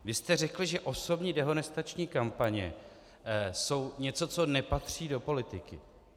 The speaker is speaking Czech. Vy jste řekl, že osobní dehonestační kampaně jsou něco, co nepatří do politiky.